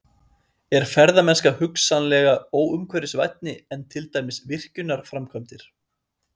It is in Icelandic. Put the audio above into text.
Er ferðamennska hugsanlega óumhverfisvænni en til dæmis virkjunarframkvæmdir?